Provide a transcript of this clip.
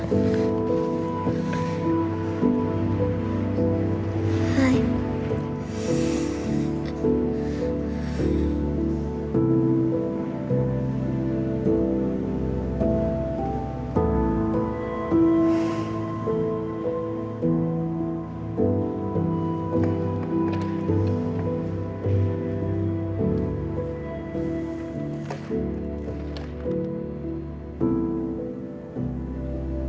við